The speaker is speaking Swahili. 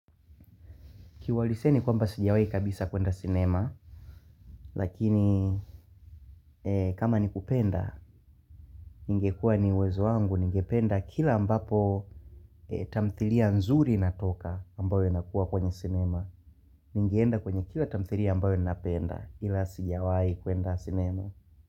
Kiwahilisia ni kwamba sijawahi kabisa kwenda sinema, lakini kama ni kupenda, ningekuwa ni uwezo wangu, ningependa kila ambapo tamthilia nzuri inatoka ambayo inakuwa kwenye sinema. Ningienda kwenye kila tamthilia ambayo napenda ila sijawahi kwenda sinema.